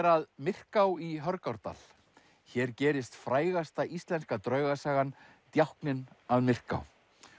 að Myrká í Hörgárdal hér gerist frægasta íslenska draugasagan djákninn að Myrká